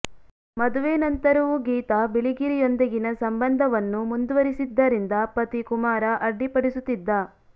ಮದುವೆ ನಂತರವೂ ಗೀತಾ ಬಿಳಿಗಿರಿಯೊಂದಿಗಿನ ಸಂಬಂಧವನ್ನು ಮುಂದುವರಿಸಿದ್ದರಿಂದ ಪತಿ ಕುಮಾರ ಅಡ್ಡಿಪಡಿಸುತ್ತಿದ್ದ